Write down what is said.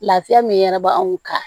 Lafiya min yɛrɛ bɛ anw kan